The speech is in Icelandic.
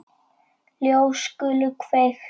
Ljós skulu kveikt.